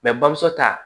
bamuso ta